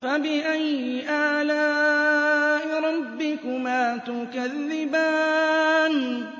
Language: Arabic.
فَبِأَيِّ آلَاءِ رَبِّكُمَا تُكَذِّبَانِ